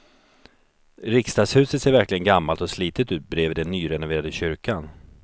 Riksdagshuset ser verkligen gammalt och slitet ut bredvid den nyrenoverade kyrkan.